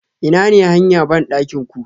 Inane hanya bandakin ku?